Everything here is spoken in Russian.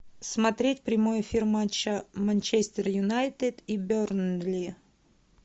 смотреть прямой эфир матча манчестер юнайтед и бернли